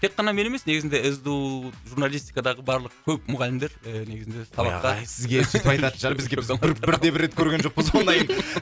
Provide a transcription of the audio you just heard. тек қана мен емес негізінде сду журналистикадағы барлық көп мұғалімдер і негізінде сабаққа ағай сізге сүйтіп айтатын шығар бізде біз бір де бір рет көрген жоқпыз ондайын